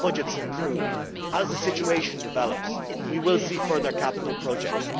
budgets improve, as the situation develops, we will see further capital projects.